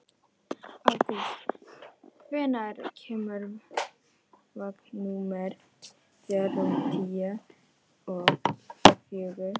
Ágúst, hvenær kemur vagn númer fjörutíu og fjögur?